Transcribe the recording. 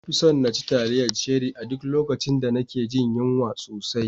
Na fi son naci taliyar Cherie a duk lokacin da nake jin yunwa sosai.